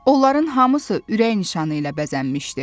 Onların hamısı ürək nişanı ilə bəzənmişdi.